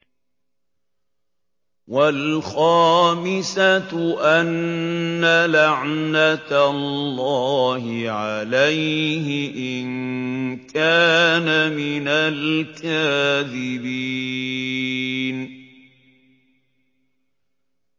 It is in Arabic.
وَالْخَامِسَةُ أَنَّ لَعْنَتَ اللَّهِ عَلَيْهِ إِن كَانَ مِنَ الْكَاذِبِينَ